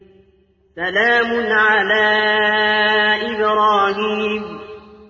سَلَامٌ عَلَىٰ إِبْرَاهِيمَ